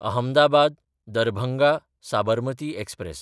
अहमदाबाद–दरभंगा Sabarmati express